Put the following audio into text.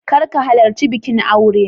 Kar ka halarci bikin aure.